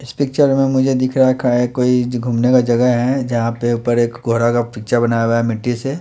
इस पिक्चर में मुझे दिख रखा है कोई घूमने का जगह है जहाँ पे ऊपर एक कोहरा का पिक्चर बनाया हुआ है मिट्टी से।